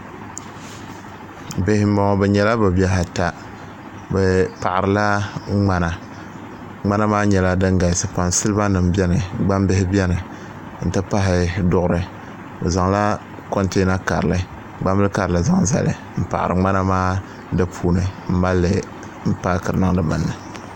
bihi m-bɔŋɔ bɛ nyɛla bɛ bihi ata bɛ paɣirila ŋmana ŋmana maa nyɛla din galisi pam salibanima beni gbambihi beni nti pahi duɣuri bɛ zaŋla kɔnteena karili gbambil' karili zaŋ zali m-paɣiri ŋmana maa di puuni m-mali li paakiri niŋdi ŋa ni